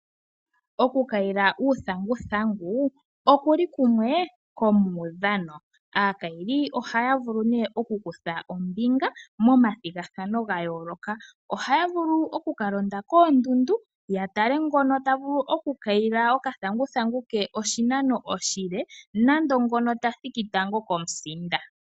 Okukayila uuthanguthangu okuli kumwe komuudhano, aakayili ohaya vulu neeh okukutha ombinga momathigathano ga yooloka, ohaya vulu okukalonda koondundu yatale ngono tavulu okukayila okathanguthangu ke oshinano oshile nando ngono ta thiki tango komusinda.